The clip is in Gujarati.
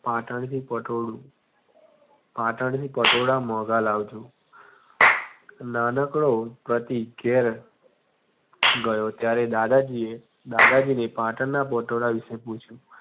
પાટણથી પટોળું પાટણથી પટોળા મોંઘા લાવજો નાનકડો પ્રતિક ઘેર ગયો ત્યારે દાદાજીએ દાદાજીને પાટણના પટોળા વિશે પૂછ્યું.